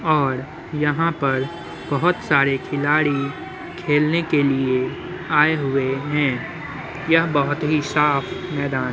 और यहाँ पर बोहत सरे खिलाड़ी खेलने के लिए आय हुए हैं यहाँ बोहत ही साफ़ मैदान --